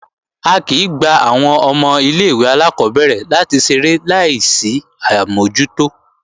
A kìí ń gba àwọn ọmọ ilé-ìwé alákọ́bẹ̀rẹ̀ láti ṣeré láì sí àmójútó